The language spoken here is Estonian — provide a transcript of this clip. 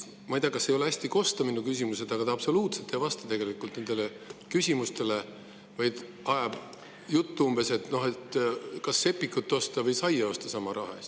Ma ei tea, kas ei ole hästi kosta minu küsimused, aga ta absoluutselt ei vasta küsimustele, vaid ajab umbes sellist juttu, et kas sama raha eest võiks osta sepikut või saia.